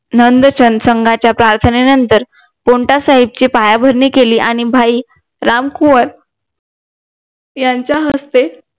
नंदचंदच्या संघाच्या प्रार्थने नंतर पोन्टासाहेबची पायाभरणी केली आणि भाई राम कुवर यांच्या हस्ते